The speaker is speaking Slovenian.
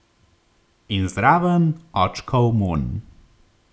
In zraven očkov vonj.